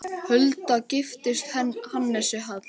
Hulda giftist Hannesi Hall.